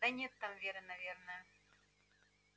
да нет там веры наверное